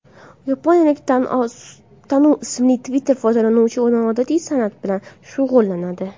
Yaponiyalik Tanu ismli Twitter foydalanuvchisi noodatiy san’at bilan shug‘ullanadi.